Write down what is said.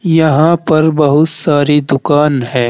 यहां पर बहुत सारी दुकान है।